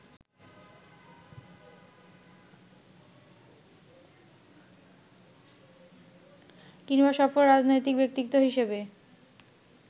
কিংবা সফল রাজনৈতিক ব্যক্তিত্ব হিসেবে